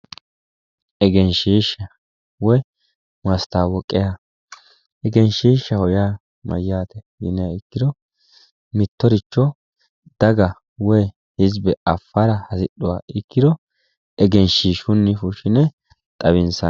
Egenshoishshaho yaa mayyaate yiniha ikkiro mittoricho daga woyi hizibe affara hasidhuha ikkiro egenshiishshunni fushshine xawinsanni